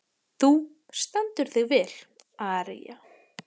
Þú stendur þig vel, Aría!